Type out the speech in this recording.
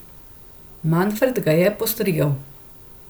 Manfred ga je postrigel.